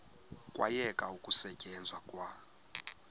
kwayekwa ukusetyenzwa kwa